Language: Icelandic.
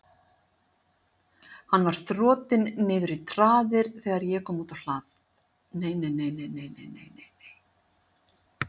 Hann var þotinn niður í traðir þegar ég kom út á hlað.